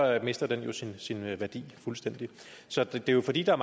mister den jo sin værdi fuldstændig så det er jo fordi der